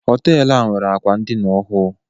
Họteelu a nwere akwa ndina ọhụụ.